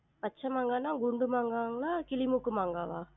பச்ச மாங்கான்னா, குண்டு மாங்காவா கிளி மூக்கு மாங்காவா?